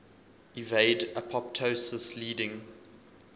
evade apoptosis leading